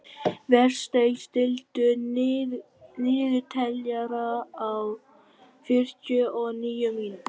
Vésteinn, stilltu niðurteljara á fjörutíu og níu mínútur.